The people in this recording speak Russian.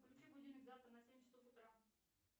включи будильник завтра на семь часов утра